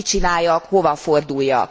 Mit csináljak, hova forduljak?